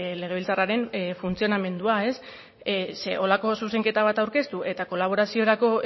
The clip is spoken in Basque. legebiltzarraren funtzionamendua zeren holako zuzenketa bat aurkeztu eta kolaboraziorako